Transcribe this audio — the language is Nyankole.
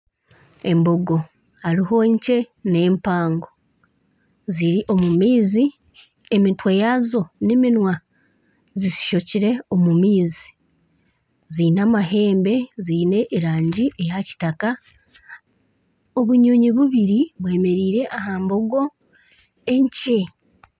Embogo hariho enkye n'empango ziri omu maizi emitwe yaazo n'eminwa zizishokire omu maizi ziine amahembe ziine erangi ya kitaka obunyonyi bubiri bwemereire aha mbogo enkye.